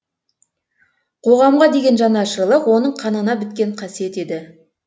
қоғамға деген жанашырлық оның қанына біткен қасиет еді